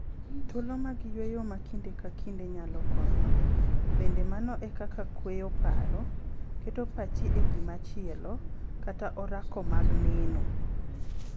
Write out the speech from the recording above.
Thuolo mag yueyo ma kinde ka kinde nyalo konyo, bende mano e kaka kweyo paro, keto pachi e gima chielo, kata orako mag neno.